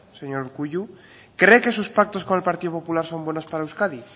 señor urkullu cree que sus pactos con el partido popular son buenos para euskadi